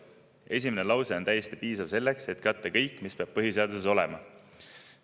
Esimene lause on täiesti piisav selleks, et katta kõik, mis peab põhiseaduses olema.